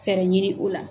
Fɛɛrɛ ɲini u la